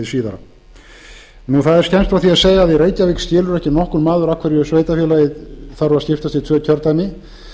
að segja að í reykjavík skilur ekki nokkur maður af hverju sveitarfélagið þarf að skiptast í tvö kjördæmi